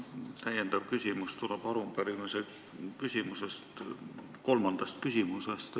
Minu täiendav küsimus tuleneb arupärimise kolmandast küsimusest.